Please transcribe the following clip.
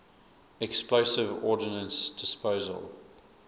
explosive ordnance disposal